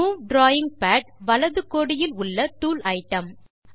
move drawing pad வலது கோடியில் உள்ள டூல் ஐட்டம்